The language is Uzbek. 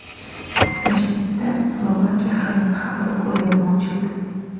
Toshkentda Slovakiya hayoti haqida ko‘rgazma ochildi.